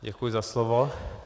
Děkuji za slovo.